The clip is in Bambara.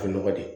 A bɛ nɔgɔ de